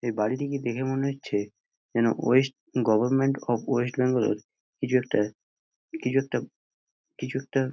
এই বাড়িটিকে দেখে মনে হচ্ছে যেন west government of West Bengal | কিছু একটা কিছু একটা কিছু একটা --